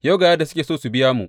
Yau ga yadda suke so su biya mu.